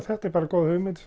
þetta er bara góð hugmynd